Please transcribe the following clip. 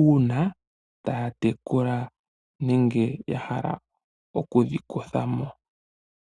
uuna tayedhi tekula, nenge yahala okudhi kuthamo.